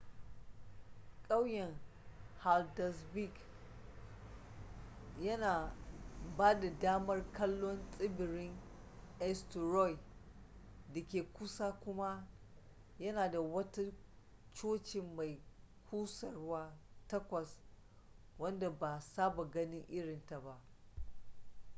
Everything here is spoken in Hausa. kauyen haldarsvík yana ba da damar kallon tsibirin eysturoy da ke kusa kuma yana da wata cocin mai kusurwa takwas wadda ba saba ganin irin ta ba